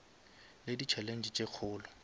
le di challenge tše kgolo